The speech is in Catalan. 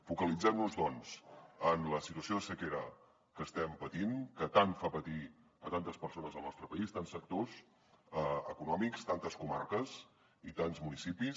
focalitzem nos doncs en la situació de sequera que estem patint que tant fa patir tantes persones al nostre país tants sectors econòmics tantes comarques i tants municipis